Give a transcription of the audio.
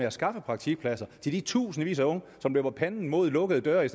at skaffe praktikpladser til de tusindvis af unge som løber panden mod lukkede døre i